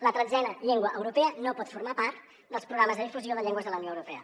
la tretzena llengua europea no pot formar part dels programes de difusió de llengües de la unió europea